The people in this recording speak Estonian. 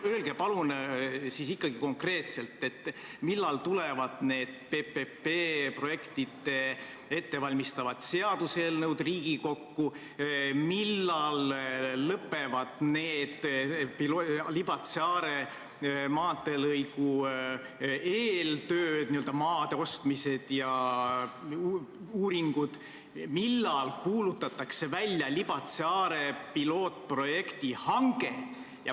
Öelge palun konkreetselt, millal siis ikkagi tulevad need PPP projekte ettevalmistavad seaduseelnõud Riigikokku, millal lõpevad need Libatse–Are maanteelõigu eeltööd, n-ö maade ostmised ja uuringud, millal kuulutatakse välja Libatse–Are pilootprojekti hange.